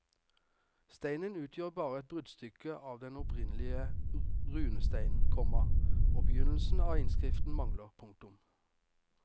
Steinen utgjør bare et bruddstykke av den opprinnelige runesteinen, komma og begynnelsen av innskriften mangler. punktum